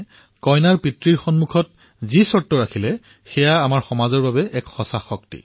তেওঁ কইনাৰ দেউতাকক যি কলে যি চৰ্তৰ কথা কলে সেয়াই আমাৰ সমাজৰ প্ৰকৃত শক্তি